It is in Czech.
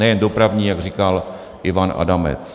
Nejen dopravní, jak říkal Ivan Adamec.